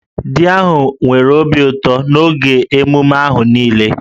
Di ahụ nwere obi ụtọ n'oge emume ahụ niile